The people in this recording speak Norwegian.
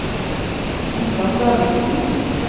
Ingvald Davidsen